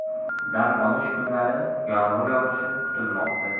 Dam olish kunlari yomg‘ir yog‘ishi kutilmoqda.